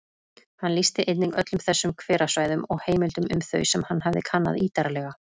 Hann lýsti einnig öllum þessum hverasvæðum og heimildum um þau sem hann hafði kannað ítarlega.